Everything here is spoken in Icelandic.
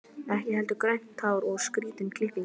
Ekki heldur grænt hár og skrýtin klipping.